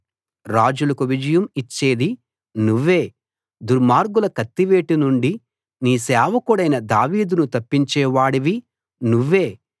రాజులకు విజయం ఇచ్చేది నువ్వే దుర్మార్గుల కత్తివేటు నుండి నీ సేవకుడైన దావీదును తప్పించే వాడివి నువ్వే